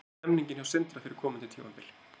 Hvernig er stemningin hjá Sindra fyrir komandi tímabil?